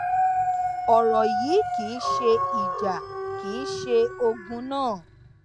ọrọ yìí kì í ṣe ìjà kì í ṣe ogun náà